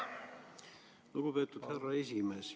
Lugupeetud härra esimees!